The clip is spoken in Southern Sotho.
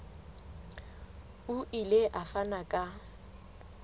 o ile a fana ka